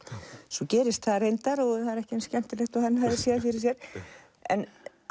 svo gerist það reyndar en er ekki eins skemmtilegt og hann hafði séð fyrir sér